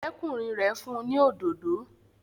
Ọ̀rẹ́kùnrin rẹ̀ fún ni òdodo